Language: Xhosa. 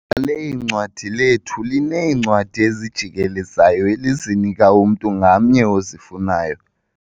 Ithala leencwadi lethu lineencwadi ezijikelezayo elizinika umntu ngamnye ozifunayo.